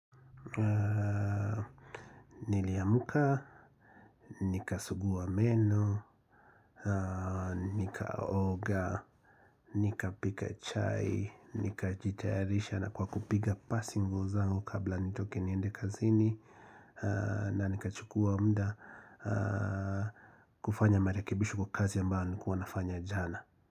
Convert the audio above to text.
Niliamka, nikasugua meno, nikaoga, nikapika chai, nikajitayarisha na kwa kupiga pasi nguo zangu kabla nitoke niende kazini na nikachukua muda kufanya marekebisho kwa kazi ambayo nilikuwa nafanya jana.